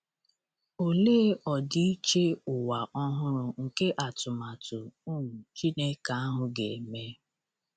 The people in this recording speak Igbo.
Olee ọdịiche ụwa ọhụrụ nke atụmatụ um Chineke ahụ ga-eme!